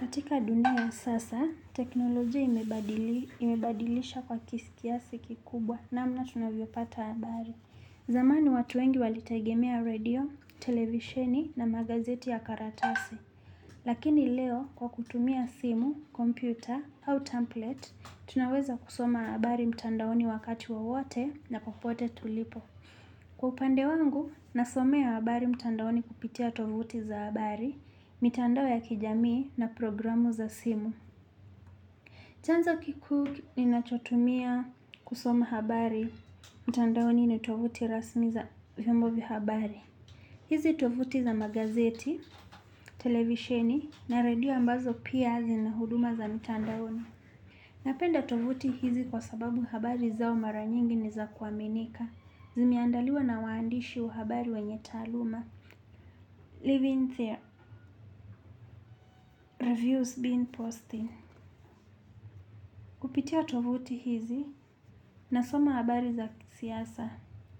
Katika dunia ya sasa, teknolojia imebadilisha kwa kiasi kikubwa namna tunavyopata habari. Zamani watu wengi walitegemea radio, televisheni na magazeti ya karatasi. Lakini leo kwa kutumia simu, kompyuta au template, tunaweza kusoma habari mtandaoni wakati wowote na popote tulipo. Kwa upande wangu, nasomea habari mtandaoni kupitia tovuti za habari, mitandao ya kijamii na programu za simu. Chanzo kikuu ninachotumia kusoma habari mtandaoni ni tovuti rasmi za vyombo vya habari. Hizi tovuti za magazeti, televisheni na radio ambazo pia zina huduma za mtandaoni. Napenda tovuti hizi kwa sababu habari zao mara nyingi ni za kuaminika. Zimeandaliwa na waandishi wa habari wenye taaluma. Living there, reviews being posting kupitia tovuti hizi nasoma habari za siasa,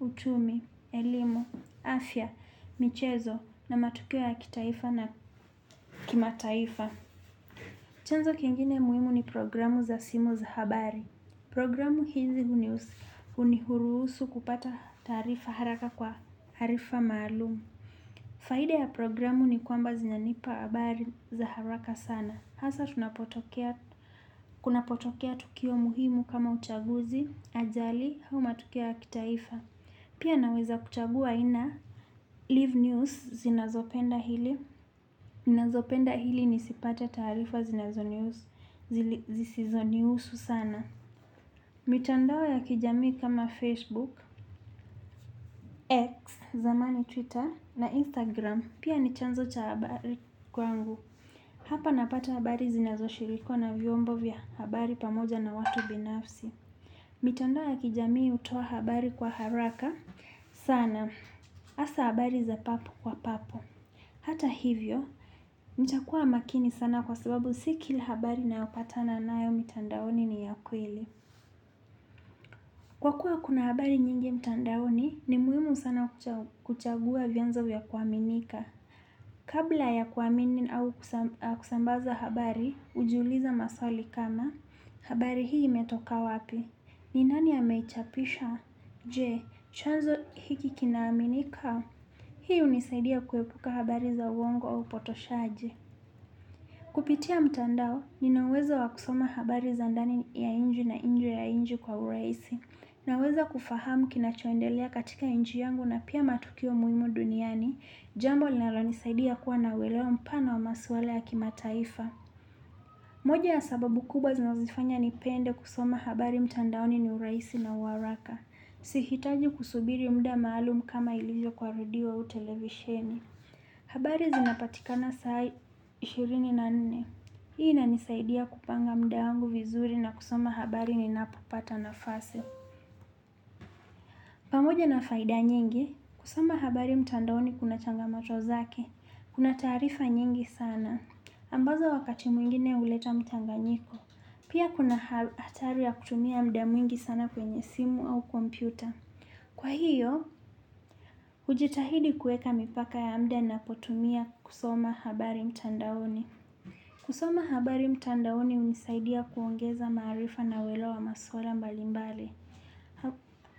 uchumi, elimu, afya, michezo na matukio ya kitaifa na kimataifa. Chanzo kingine muhimu ni programu za simu za habari. Programu hizi huniruhusu kupata taarifa haraka kwa taarifa maalum. Faida ya programu ni kwamba zinanipa habari za haraka sana. Hasaa tunapotokea, kunapotokea tukio muhimu kama uchaguzi, ajali, au matukio ya kitaifa. Pia naweza kuchagua aina leave news zinazopenda ili. Zinazopenda ili nisipate taarifa zinazonihusu zisizonihusu sana. Mitandao ya kijamii kama Facebook, X, zamani Twitter na Instagram. Pia ni chanzo cha habari kwangu. Hapa napata habari zinazoshirikwa na vyombo vya habari pamoja na watu binafsi. Mitandao ya kijamii hutoa habari kwa haraka sana. Hasaa habari za papo kwa papo. Hata hivyo, nitakuwa makini sana kwa sababu si kila habari ninayopatana nayo mitandaoni ni ya kweli. Kwa kuwa kuna habari nyingi mtandaoni, ni muhimu sana kuchagua vyanzo ya kuaminika. Kabla ya kuamini au kusambaza habari, hujiuliza maswali kama, habari hii imetoka wapi. Ni nani ameichapisha? Je, chanzo hiki kinaaminika? Hii hunisaidia kuepuka habari za uongo au potoshaji. Kupitia mtandao, nina uwezo wa kusoma habari za ndani ya nje na nje ya nchi kwa urahisi. Naweza kufahamu kinachoendelea katika nchi yangu na pia matukio muhimu duniani, jambo linalonisaidia kuwa na uelewa mpana wa maswala ya kimataifa. Moja ya sababu kubwa zinazofanya nipende kusoma habari mtandaoni ni urahisi na uharaka. Sihitaji kusubiri muda maalum kama ilivyo kwa radio au televisheni. Habari zinapatikana saa ishirini na nne. Hii inanisaidia kupanga muda wangu vizuri na kusoma habari ninapopata nafasi. Pamoja na faida nyingi, kusoma habari mtandaoni kuna changamoto zake. Kuna taarifa nyingi sana. Ambazo wakati mwingine huleta mchanganyiko. Pia kuna hatari ya kutumia muda mwingi sana kwenye simu au kompyuta. Kwa hiyo, hujitahidi kuweka mipaka ya muda ninapotumia kusoma habari mtandaoni. Kusoma habari mtandaoni hunisaidia kuongeza maarifa na uelewwa wa maswala mbalimbali.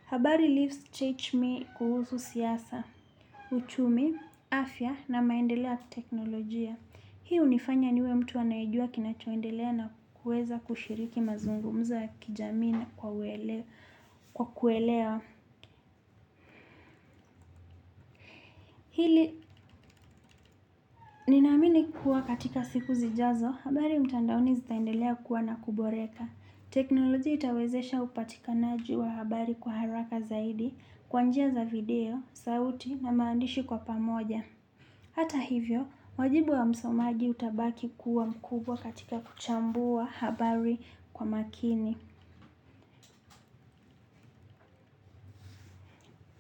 Habari leaves teach me kuhusu siasa, uchumi, afya na maendeleo ya kiteknolojia. Hii hunifanya niwe mtu anayejua kinachoendelea na kuweza kushiriki mazungumzo ya kijamii na kwa kuelewa. Hili naamini kuwa katika siku zijazo, habari mtandaoni zitaendelea kua na kuboreka. Teknolojia itawezesha upatikanaji wa habari kwa haraka zaidi, kwa njia za video, sauti na maandishi kwa pamoja. Hata hivyo, wajibu wa msomaji utabaki kuwa mkubwa katika kuchambua habari kwa makini.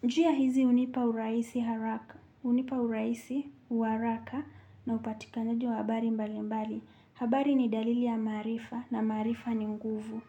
Njia hizi hunipa urahisi haraka, hunipa urahisi wa haraka na upatikanaji wa habari mbalimbali. Habari ni dalili ya maarifa na maarifa ni nguvu.